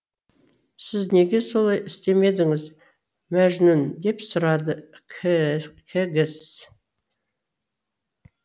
сіз неге солай істемедіңіз мәжнүн деп сұрады кэгс